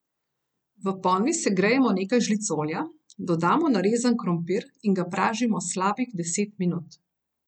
V ponvi segrejemo nekaj žlic olja, dodamo narezan krompir in ga pražimo slabih deset minut.